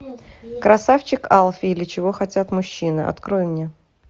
красавчик алфи или чего хотят мужчины открой мне